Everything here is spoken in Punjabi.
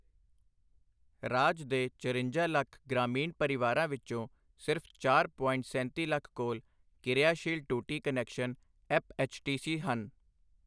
ਰਾਜ ਦੇ ਚਰੰਜਾ ਲੱਖ ਗ੍ਰਾਮੀਣ ਪਰਿਵਾਰਾਂ ਵਿੱਚੋਂ ਸਿਰਫ ਚਾਰ ਪੋਇੰਟ ਸੈਂਤੀ ਲੱਖ ਕੋਲ ਕਿਰਿਆਸ਼ੀਲ ਟੂਟੀ ਕਨੈਕਸ਼ਨ ਐੱਪਐੱਚਟੀਸੀ ਹਨ।